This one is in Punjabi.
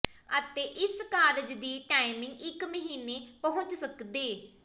ਅਤੇ ਇਸ ਕਾਰਜ ਦੀ ਟਾਈਮਿੰਗ ਇੱਕ ਮਹੀਨੇ ਪਹੁੰਚ ਸਕਦੇ